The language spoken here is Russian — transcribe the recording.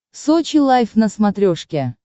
сочи лайф на смотрешке